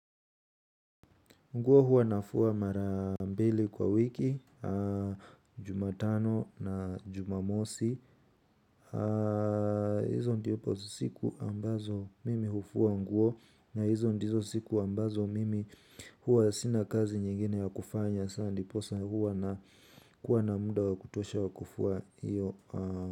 Nguo huwa nafua mara mbili kwa wiki, jumatano na jumamosi. Hizo ndipo siku ambazo mimi hufua nguo. Na hizo ndizo siku ambazo mimi huwa sina kazi nyingine ya kufanya. Sa ndiposa huwa nakuwa na muda wa kutosha wa kufua iyo.